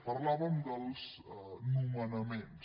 parlàvem dels nomenaments